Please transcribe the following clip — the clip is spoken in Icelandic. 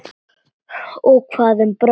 Og hvað um Bróa?